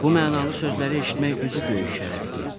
Bu mənalı sözləri eşitmək özü böyük şərəfdir.